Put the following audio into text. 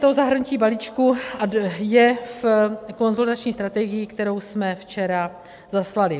To zahrnutí balíčku je v konsolidační strategii, kterou jsme včera zaslali.